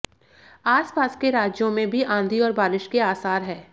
आसपास के राज्यों में भी आंधी और बारिश के आसार हैं